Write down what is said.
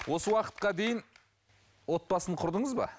осы уақытқа дейін отбасын құрдыңыз ба